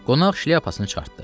Qonaq şlyapasını çıxartdı.